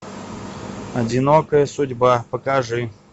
одинокая судьба покажи